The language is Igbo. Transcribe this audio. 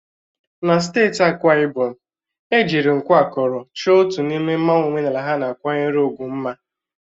Na steeti Akwa Ibom, ejiri nku akọrọ chọọ otu n'ime mmanwu omenala ha na-akwanyere ugwu mma.